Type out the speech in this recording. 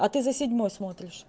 а ты за седьмой смотришь